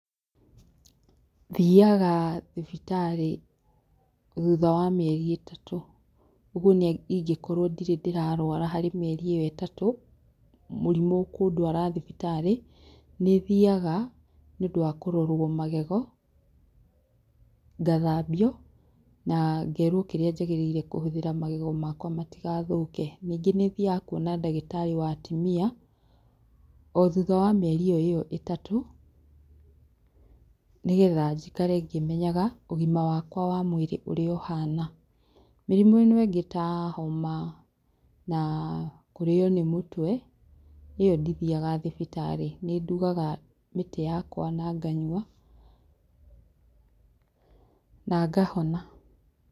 Thiaga thibitarĩ thutha wa mĩeri ĩtatu, ũguo nĩ ingĩkorwo ndirĩ ndĩrarwara harĩ mĩeri ĩyo ĩtatũ ,mũrimũ ũkũndwara thibitarĩ. Nĩthiaga nĩundũ wa kũrorwo magego, ngathambio, na ngerwo kĩrĩa njagĩrĩire kũhũthĩra magego makwa matigathũke. Ningĩ nĩthiaga kuona ndagĩtarĩ wa atumia o thutha wa mĩeri ĩyo ĩyo ĩtatũ nĩgetha njikare ngĩmenyaga ũgima wakwa wa mwĩrĩ ũrĩa ũhana. Mĩrimũ ĩno ĩngĩ ta homa na kũrĩo nĩ mũtwe, ĩyo ndithiaga thibitarĩ, nĩ ndugaga mĩtĩ yakwa na nganyua na ngahona.